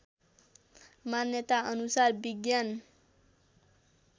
मान्यता अनुसार विज्ञान